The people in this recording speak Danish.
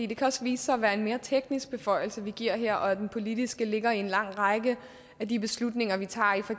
det kan også vise sig at være en mere teknisk beføjelse vi giver her og at den politiske ligger i en lang række af de beslutninger vi tager i for